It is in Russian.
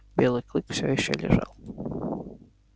белый клык все ещё лежал